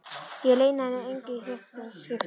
Ég leyni hann engu í þetta skipti.